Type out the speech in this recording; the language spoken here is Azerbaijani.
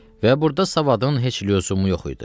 Və burda savadın heç lüzumu yox idi.